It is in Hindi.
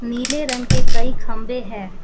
पीले रंग के कई खंभे है।